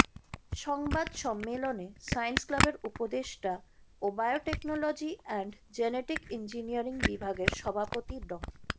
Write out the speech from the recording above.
সংবাদ সম্মেলনে সায়েন্স ক্লাবের উপদেষ্টা ও বায়োটেকনোলজি অ্যান্ড জেনেটিক ইঞ্জিনিয়ারিং বিভাগের সভাপতি ড